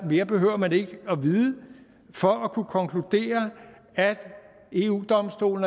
mere behøver man ikke at vide for at kunne konkludere at eu domstolen